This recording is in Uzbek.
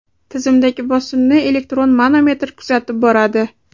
Tizimdagi bosimni elektron manometr kuzatib boradi.